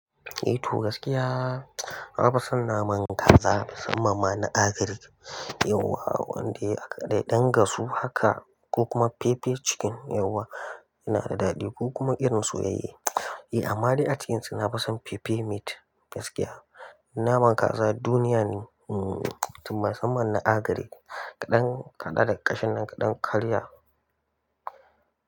Eh to gaskiya nafi son naman kaza musamman ma na agric, yauwa wanda ya dai ɗan gasu haka ko kuma pepe chicken yauwa yana da daɗi ko kuma irin soyayye. Eh amma dai a cikinsu nafi son pepe meat gaskiya. Naman kaza duniya ne musamman na agaric, kaɗan kama ƙashin nan kaɗan karya.